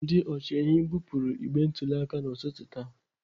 Ndị ọchịehi kpụpụrụ igbe ntụli aka n'ụtụtụ taa.